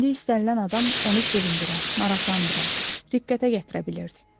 İndi istənilən adam onu sevindirə, maraqlandıra, riqqətə gətirə bilirdi.